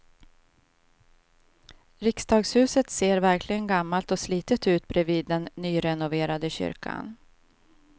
Riksdagshuset ser verkligen gammalt och slitet ut bredvid den nyrenoverade kyrkan.